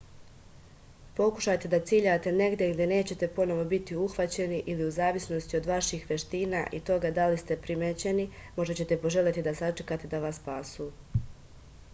pokušajte da ciljate negde gde nećete ponovo biti uhvaćeni ili u zavisnosti od vaših veština i toga da li ste primećeni možda ćete poželeti da sačekate da vas spasu